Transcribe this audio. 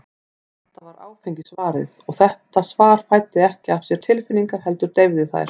Alltaf var áfengi svarið, og þetta svar fæddi ekki af sér tilfinningar, heldur deyfði þær.